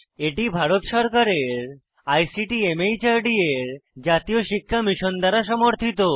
এটি ভারত সরকারের ICT MHRD এর জাতীয় শিক্ষা মিশন দ্বারা সমর্থিত